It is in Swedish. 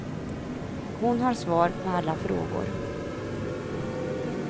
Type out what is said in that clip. Hon har svar på alla frågor.